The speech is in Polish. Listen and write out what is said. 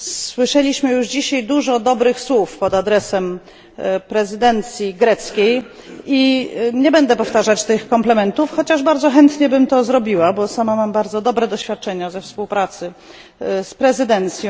Słyszeliśmy już dzisiaj dużo dobrych słów pod adresem prezydencji cypryjskiej i nie będę powtarzać tych komplementów, chociaż bardzo chętnie bym to zrobiła, bo sama mam bardzo dobre doświadczenia ze współpracy z prezydencją.